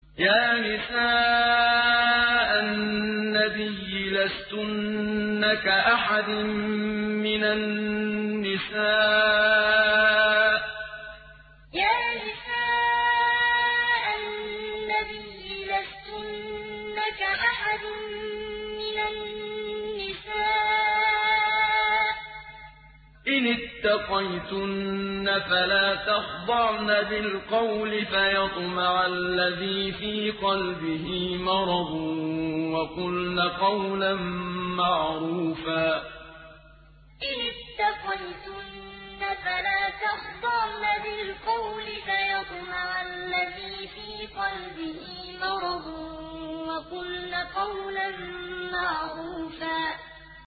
يَا نِسَاءَ النَّبِيِّ لَسْتُنَّ كَأَحَدٍ مِّنَ النِّسَاءِ ۚ إِنِ اتَّقَيْتُنَّ فَلَا تَخْضَعْنَ بِالْقَوْلِ فَيَطْمَعَ الَّذِي فِي قَلْبِهِ مَرَضٌ وَقُلْنَ قَوْلًا مَّعْرُوفًا يَا نِسَاءَ النَّبِيِّ لَسْتُنَّ كَأَحَدٍ مِّنَ النِّسَاءِ ۚ إِنِ اتَّقَيْتُنَّ فَلَا تَخْضَعْنَ بِالْقَوْلِ فَيَطْمَعَ الَّذِي فِي قَلْبِهِ مَرَضٌ وَقُلْنَ قَوْلًا مَّعْرُوفًا